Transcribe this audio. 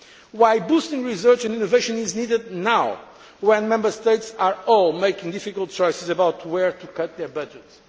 is why boosting research and innovation is needed now, when Member States are all making difficult choices about where to cut their budgets.